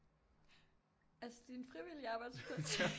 Altså din frivillige arbejdsplads